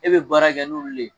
E bɛ baara kɛ n'olu le ye